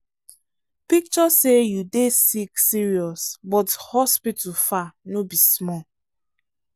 picture say you dey sick serious but hospital far no be small.